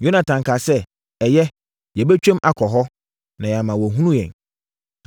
Yonatan kaa sɛ, “Ɛyɛ, yɛbɛtwam akɔ hɔ, na yɛama wɔahunu yɛn.